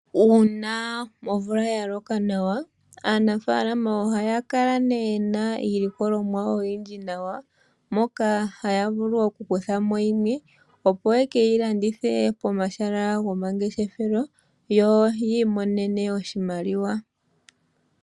Uuna omvula yaloka nawa, aanafaalama ohaya kala yena iilikolomwa oyindji nawa , moka haya vulu okuthamo yimwe , opo yekeyi landithe pomahala gomangeshefelo yo yiimonenemo iiyemo .